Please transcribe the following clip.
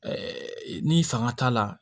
ni fanga t'a la